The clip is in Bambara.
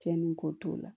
Cɛnni ko t'o la